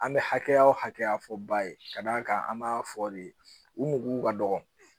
An bɛ hakɛya o hakɛya fɔ ba ye ka d'a kan an b'a fɔ de u mago ka dɔgɔ